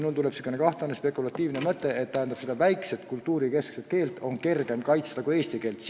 Mulle tuli pähe selline kahtlane spekulatiivne mõte, et mingit väikest, kohaliku kultuuri keskset keelt on kergem kaitsta kui eesti keelt.